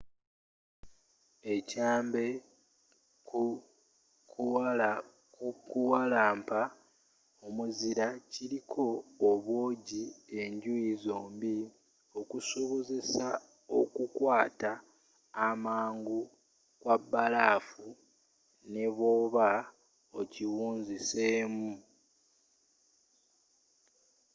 ekyambe ku kukuwalampa omuzira kiriko obwoogi enjuyi zombie okusobozesa okukwaata amangu kw'abalafu nebwooba okiwunziseemu